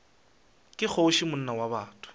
ke kgoši monna wa botho